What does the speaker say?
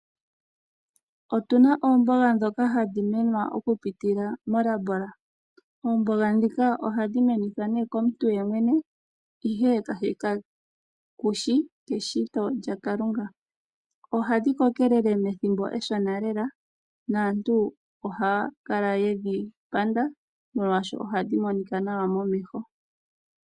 Otu na oomboga ndhoka hadhi mene okupitila molabola. Oomboga ndhika ohadhi menithwa komuntu ye mwene, ihe kashi shi pashito lyaKalunga. Ohadhi kokelele muule wethimbo eshona lela naantu ohaya a ye dhi panda, molwashoka ohadhi monika nawa momeho.